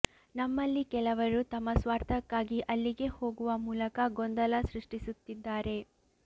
ನಮ್ಮಲ್ಲಿ ಕೆಲವರು ತಮ್ಮ ಸ್ವಾರ್ಥಕ್ಕಾಗಿ ಅಲ್ಲಿಗೆ ಹೋಗುವ ಮೂಲಕ ಗೊಂದಲ ಸೃಷ್ಟಿಸುತ್ತಿದ್ದಾರೆ